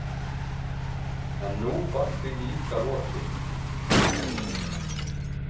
En nú var því líka lokið.